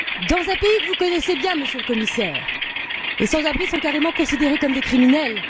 Dans un pays que vous connaissez bien, Monsieur le Commissaire, les sans abri sont carrément considérés comme des criminels.